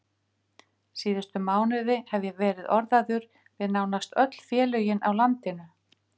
Síðustu mánuði hef ég verið orðaður við nánast öll félögin á landinu.